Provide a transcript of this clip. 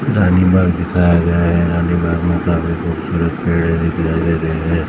रानीबाग दिखाया गया है रानीबाग में काफी खूबसूरत पेड़ दिखाई दे रहे हैं।